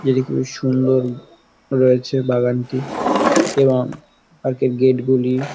যেটি খুবই সুন্দর রয়েছে বাগানটি এবং পার্ক -এর গেট গুলি--